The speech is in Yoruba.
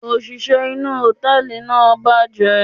òṣìṣẹ́ inú hòtẹ́ẹ̀lì náà bàjẹ́.